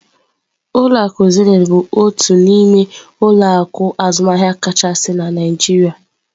Ulọ akụ Zenith bụ otu n'ime ụlọ akụ azụmaahịa kachasị na Naijiria.